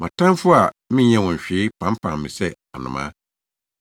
Mʼatamfo a menyɛɛ wɔn hwee pampam me sɛ anomaa.